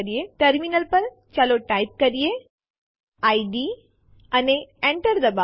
terminal પર ચાલો type કરીએid અને Enter ડબાઓ